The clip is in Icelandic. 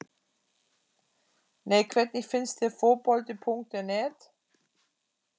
Nei Hvernig finnst þér Fótbolti.net?